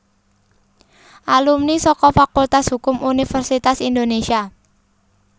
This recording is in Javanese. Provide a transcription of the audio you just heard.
Alumni saka Fakultas Hukum Universitas Indonesia